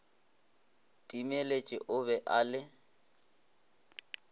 timeletše o be a le